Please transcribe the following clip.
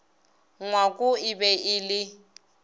ngwako e be e le